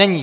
Není.